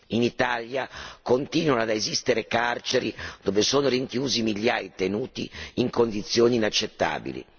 In Italia continuano ad esistere carceri dove sono rinchiusi migliaia di detenuti in condizioni inaccettabili.